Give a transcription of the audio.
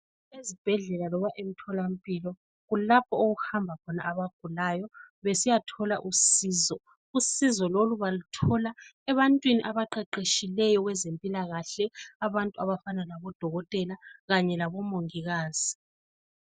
Esibhedlela loba emtholampilo, kulapho okuhamba khona abagulayo besiyatholaa usizo. Usizo lolu baluthola ebantwini abaqeqetshileyo kwezempilakahle abantu abafana labodokotela kanye labomongikazi.